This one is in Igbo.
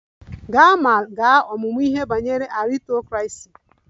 Gaa ma gaa ọmụmụ ihe banyere aristocracy!